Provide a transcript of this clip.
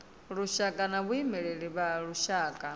lushaka na vhaimeleli vha lushaka